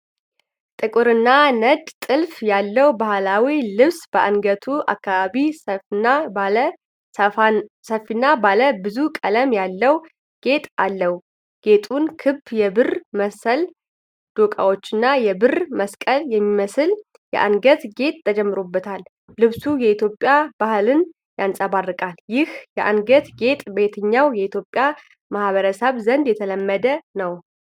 ጥቁርና ነጭ ጥልፍ ያለው ባህላዊ ልብስ በአንገቱ አካባቢ ሰፊና ባለ ብዙ ቀለም ያለው ጌጥ አለው። ጌጡን ክብ የብር መሰል ዶቃዎችና የብር መስቀል የሚመስል የአንገትጌጥ ተጨምሮበታል። ልብሱ ኢትዮጵያዊ ባህልን ያንጸባርቃል። ይህ የአንገትጌጥ በየትኛው የኢትዮጵያ ማኅበረሰብ ዘንድ የተለመደ ነው?